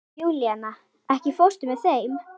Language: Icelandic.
Júlíana, ekki fórstu með þeim?